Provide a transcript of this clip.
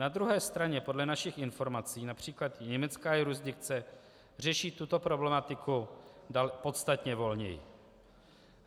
Na druhé straně podle našich informací například německá jurisdikce řeší tuto problematiku podstatně volněji.